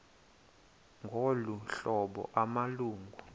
ngolu hlobo amalungu